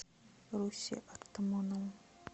русе артамонову